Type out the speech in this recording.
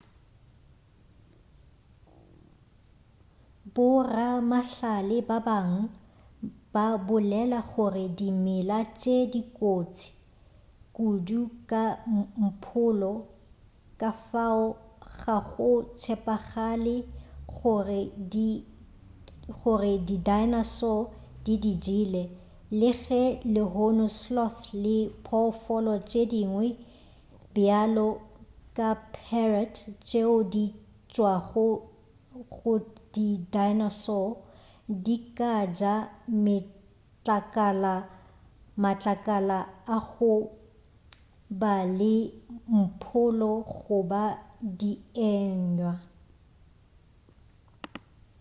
boramahlale ba bangwe ba bolela gore dimela tše di kotsi kudu ka mpholo ka fao ga go tshepagale gore di dinosaur di di jele le ge lehono sloth le diphoofolo tše dingwe bjalo ka parrot tšeo di tšwago go di dinosaurs di ka ja matlakala a go ba le mpholo goba dienywa